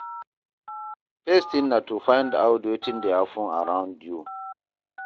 First tin na to find out wetin dey happen around you.